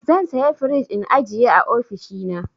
Zan saya frij in ajiye a ofishina.